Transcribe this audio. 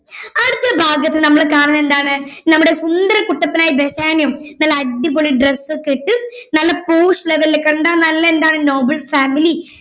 അടുത്ത ഭാഗത്ത് നമ്മൾ കാണുന്നതെന്താണ് നമ്മുടെ സുന്ദരകുട്ടപ്പനായ ബെസാനിയോ നല്ല അടിപൊളി dress ഒക്കെ ഇട്ട് നല്ല porsch level ൽ കണ്ടാ നല്ല എന്താണ് noble family